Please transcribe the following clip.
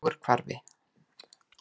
Ögurhvarfi